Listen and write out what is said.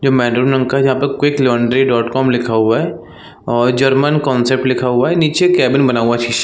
ये मैडन नाम का यहाँ पे क्विक लौंडरी डॉट कॉम लिखा हुआ है और जर्मन कांसेप्ट लिखा हुआ है निचे केबिन बना हुआ है शीशे--